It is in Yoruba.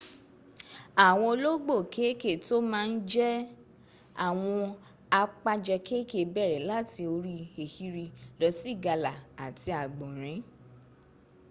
àwọn olóógbò kéèké tó má ń jẹ àwọn àpajẹ kéèkèé bẹ̀rẹ̀ láti orí ehiri lọ sí ìgalà àti àgbọ̀nrín